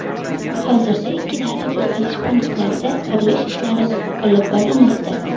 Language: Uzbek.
Hozirda ikki davlat o‘tkazish punktlarida qurilish ishlari olib borilmoqda.